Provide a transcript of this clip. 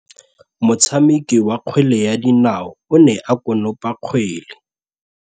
Motshameki wa kgwele ya dinaô o ne a konopa kgwele.